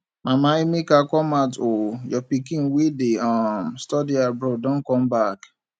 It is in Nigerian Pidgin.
mama emeka come out oo your pikin wey dey um study abroad don come back